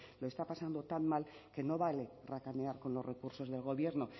lo está pasando tan mal que no vale racanear con los recursos del gobierno